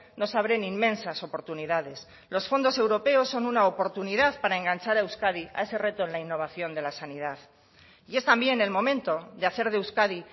nos abren inmensas oportunidades los fondos europeos son una oportunidad para enganchar a euskadi a ese reto en la innovación de la sanidad y es también el momento de hacer de euskadi